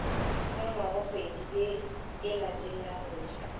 ka ngwagakgwedi ye e latelagotša